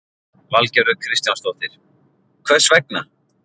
Valgerður Kristjánsdóttir: Hvers vegna?